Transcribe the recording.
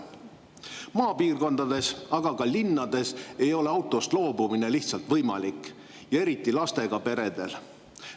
Eriti maapiirkondades, aga ka linnades ei ole autost loobumine lihtsalt võimalik, seda just lastega peredel.